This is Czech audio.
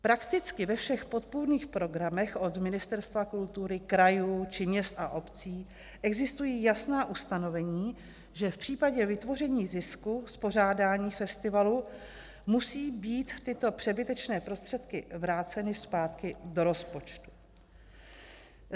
Prakticky ve všech podpůrných programech od Ministerstva kultury, krajů, či měst a obcí existují jasná ustanovení, že v případě vytvoření zisku z pořádání festivalu musejí být tyto přebytečné prostředky vráceny zpátky do rozpočtu.